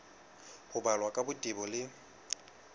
ho balwa ka botebo le